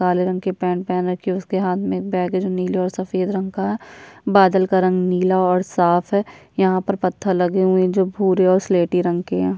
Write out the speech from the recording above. काले रंग के पैंट पहन रखी है उसके हाथ में एक बैग है जो नीले और सफेद रंग का है बादल का रंग नीला और साफ है यहाँ पर पत्थर लगे हुए जो भूरे और स्लेटी रंग के हैं।